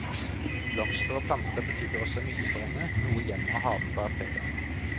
Blomster og planter betydde også mye for henne, noe hjemmet og haven bar preg av.